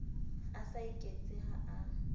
a sa iketse ha a